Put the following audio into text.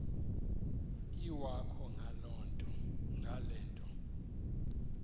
iwakho ngale nto